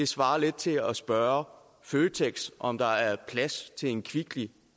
svarer til at spørge føtex om der er plads til en kvickly